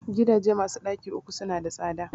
Gidajen masu ɗaki uku su na da tsada